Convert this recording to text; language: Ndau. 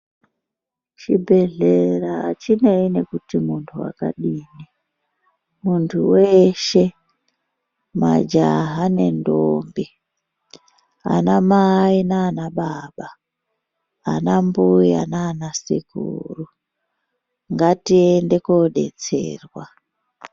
Chibhedhlera hachinei nokuti munthu wakadini munthu weshe majaha nenthombi, anamai nanababa, anambuya nanasekuru ngatiende kodetserwa.